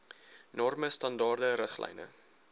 norme standaarde riglyne